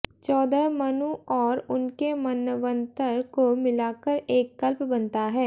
चौदह मनु और उनके मन्वन्तर को मिलाकर एक कल्प बनता है